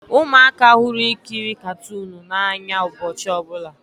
Ụmụaka hụrụ ikiri katuunu n'anya ụbọchị ọbụla